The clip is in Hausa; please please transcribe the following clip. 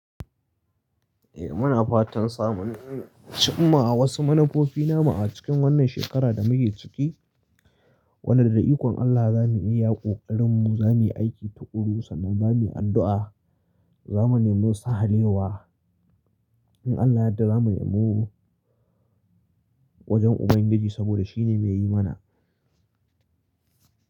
Eh muna fatan samun, amma a wasu manufofi nama a cikin wannan shekara da muke ciki, wadanda ikon Allah za mu iya yaƙo ƙarin mu za mu yi aiki tuƙuru sannan za mu yi addu'a. Za mu nemo sahalewa. In Allah yadda za mu nemo wajen Ubangiji saboda shi ne mai yi mana.